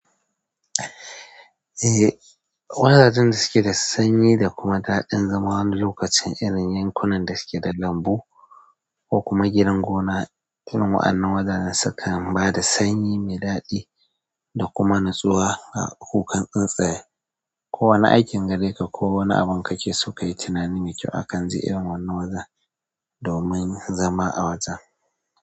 Eh, wajaen dasuke da sanyi da kuma daɗin zama wani lokacin irin yankunan dasuke da lambu kokuma gidan gona. Irin wa'anna wajajen sukan bada sanyi mai daɗi dakuma natsuwa ga kukan tsuntsaye. Ko wani aikin gare ka, ko wani abin ka ke so ka yi tunani mai kyau akan ji irin wannan wazan domin zama a wajen.